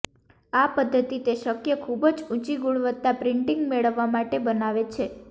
આ પદ્ધતિ તે શક્ય ખૂબ જ ઊંચી ગુણવત્તા પ્રિન્ટીંગ મેળવવા માટે બનાવે છે